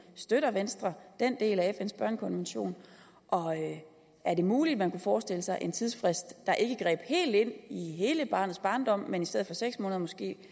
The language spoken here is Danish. støtter venstre den del af fns børnekonvention og er det muligt man kunne forestille sig en tidsfrist der ikke greb ind i hele barnets barndom men som i stedet for seks måneder måske